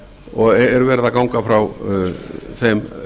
og er verið að ganga frá þeim